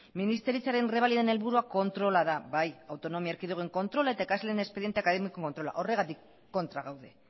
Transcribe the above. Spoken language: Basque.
ministeritzaren errebaliden helburua kontrola da bai autonomi erkidegoen kontrola eta ikasleen espediente akademikoen kontrola horregatik kontra gaude